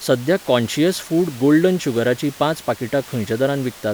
सध्या conscious food golden शुगराचीं पांच पाकिटां खंयच्या दरान विकतात?